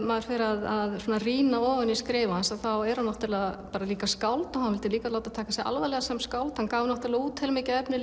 maður fer að rýna ofan í skrif hans þá er hann líka skáld og hann vildi líka láta taka sig alvarlega sem skáld hann gaf út heilmikið efni